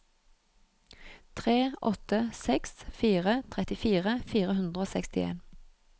tre åtte seks fire trettifire fire hundre og sekstien